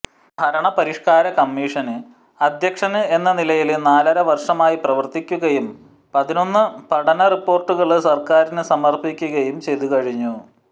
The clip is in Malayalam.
ഭരണപരിഷ്കാര കമ്മീഷന് അദ്ധ്യക്ഷന് എന്ന നിലയില് നാലര വര്ഷമായി പ്രവര്ത്തിക്കുകയും പതിനൊന്ന് പഠന റിപ്പോര്ട്ടുകള് സര്ക്കാരിന് സമര്പ്പിക്കുകയും ചെയ്തുകഴിഞ്ഞു